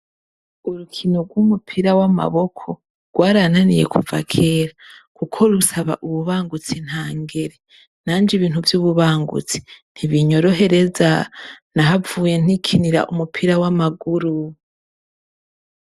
Urukino ryumupira w'amaboko rwananiye kuba kera. Kuko rusana ububangutsi ntangere. Nanjew ibintu vy',ububangutsi ntibunyorohereza. Nahavuye nikinira umupira w'amaguru.